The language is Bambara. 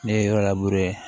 Ne ye yɔrɔ labure